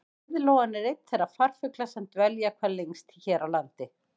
Heiðlóan er einn þeirra farfugla sem dvelja hvað lengst hér á landi.